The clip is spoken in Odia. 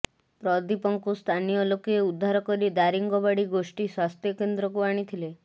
ପ୍ରଦୀପଙ୍କୁ ସ୍ଥାନୀୟ ଲୋକେ ଉଦ୍ଧାର କରି ଦାରିଙ୍ଗବାଡ଼ି ଗୋଷ୍ଠୀ ସ୍ବାସ୍ଥ୍ୟକେନ୍ଦ୍ରକୁ ଆଣିଥିଲେ